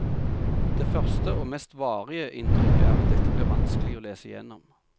Det første, og mest varige, inntrykket er at dette blir vanskelig å lese gjennom.